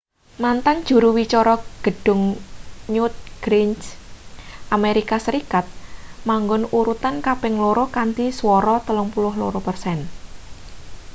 mantan juru wicara gedhung newt gingrich amerika serikat manggon urutan kaping loro kanthi swara 32 persen